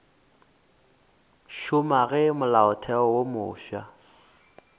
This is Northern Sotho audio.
šoma ge molaotheo wo mofsa